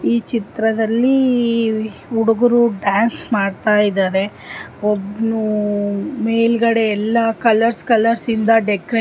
ಈ ಚಿತ್ರದಲ್ಲಿ ಹುಡುಗರು ಡಾನ್ಸ್ ಮಾಡ್ತಾ ಇದ್ದಾರೆ ಒಬ್ನು ಮೇಲೆಲ್ಲಾ ಕಲರ್ಸ್ ಕಲರ್ಸ್ ಇಂದ ಡೆಕೋರೇಟ್ --